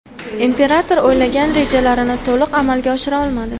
Imperator o‘ylagan rejalarini to‘liq amalga oshira olmadi.